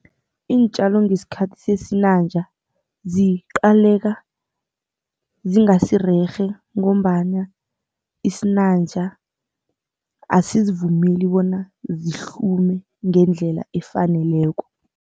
Iintjalo ngesikhathi sesinanja ziqaleka zingasizarerhe ngombana isinanja asizivumeli bona zihlume ngendlela efaneleko.